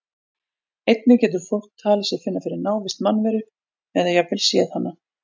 Einnig getur fólk talið sig finna fyrir návist mannveru eða jafnvel séð hana.